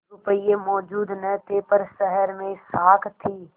रुपये मौजूद न थे पर शहर में साख थी